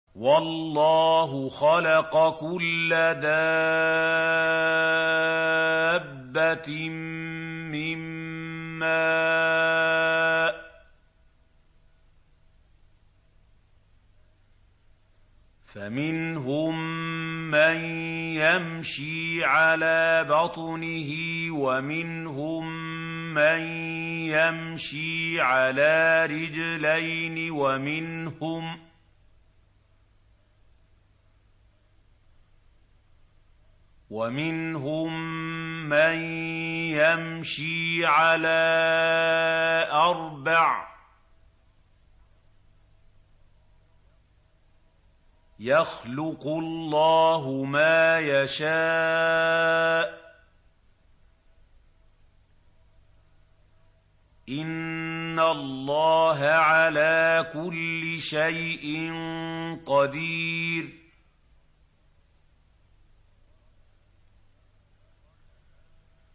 وَاللَّهُ خَلَقَ كُلَّ دَابَّةٍ مِّن مَّاءٍ ۖ فَمِنْهُم مَّن يَمْشِي عَلَىٰ بَطْنِهِ وَمِنْهُم مَّن يَمْشِي عَلَىٰ رِجْلَيْنِ وَمِنْهُم مَّن يَمْشِي عَلَىٰ أَرْبَعٍ ۚ يَخْلُقُ اللَّهُ مَا يَشَاءُ ۚ إِنَّ اللَّهَ عَلَىٰ كُلِّ شَيْءٍ قَدِيرٌ